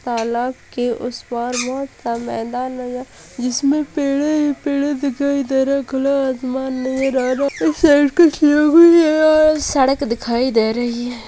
तालाब के उस पार बहुत सा मैदान नजर इसमें पेड़ें ही पेडें दिखाई दे रहें हैं। खुला आसमान नजर आ रहा है सड़क दिखाई दे रही है।